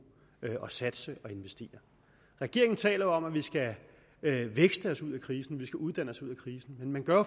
og satse og investere regeringen taler jo om at vi skal vækste os ud af krisen at vi skal uddanne os ud af krisen men man gør